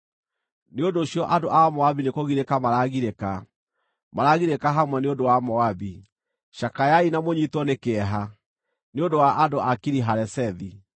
Nĩ ũndũ ũcio andũ a Moabi nĩkũgirĩka maragirĩka, maragirĩka hamwe nĩ ũndũ wa Moabi. Cakayai na mũnyiitwo nĩ kĩeha nĩ ũndũ wa andũ a Kiri-Haresethi.